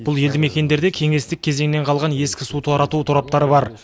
бұл елді мекендерде кеңестік кезеңнен қалған ескі су тарату тораптары бар